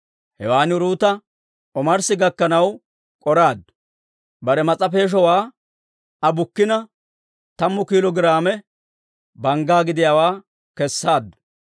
Hewan Uruuta omarssi gakkanaw k'oraaddu. Bare mas'a peeshowaa Aa bukkina, tammu kiilo giraame bangga gidiyaawaa kesseedda.